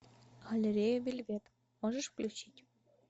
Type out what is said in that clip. галерея вельвет можешь включить